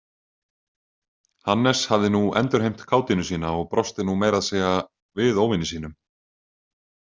Hannes hafði nú endurheimt kátínu sína og brosti nú meiraðsegja við óvini sínum.